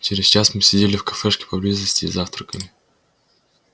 через час мы сидели в кафешке поблизости и завтракали